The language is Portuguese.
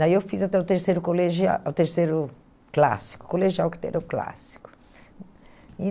Daí eu fiz até o terceiro colegial o terceiro clássico, o colegial que teve é o clássico. E